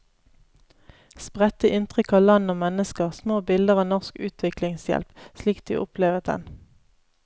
Spredte inntrykk av land og mennesker, små bilder av norsk utviklingshjelp, slik de opplevet den.